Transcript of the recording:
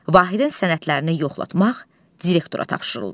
Vahidin sənədlərini yoxlatmaq direktora tapşırıldı.